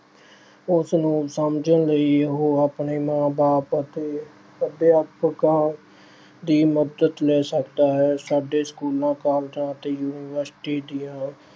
ਉਸ ਨੂੰ ਸਮਝਣ ਲਈ ਉਹ ਆਪਣੇ ਮਾਂ-ਬਾਪ ਅਤੇ ਅਧਿਆਪਕਾਂ ਦੀ ਮਦਦ ਲੈ ਸਕਦਾ ਹੈ। ਸਾਡੇ schools, colleges ਅਤੇ universities ਦੀਆਂ